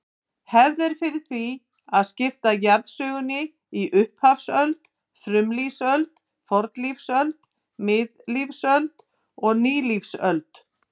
Hefð er fyrir því að skipta jarðsögunni í upphafsöld, frumlífsöld, fornlífsöld, miðlífsöld og nýlífsöld.